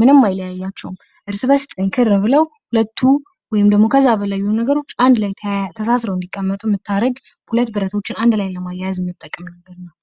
ምንም አይለያያቸውም። እርስ በርስ ጠንከር ብለው ሁለቱ ወይም ደግሞ ከዛ በላይ የሆኑ ነገሮች አንድ ላይ ተሳሰረው እንዲቀመጡ የምታረግ። ሁለት ብረቶችን አንድ ላይ ለማያያዝ የምጠቅም ነገር ናት።